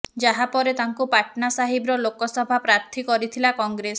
ଯାହା ପରେ ତାଙ୍କୁ ପାଟ୍ନା ସାହିବ୍ର ଲୋକସଭା ପ୍ରାର୍ଥୀ କରିଥିଲା କଂଗ୍ରେସ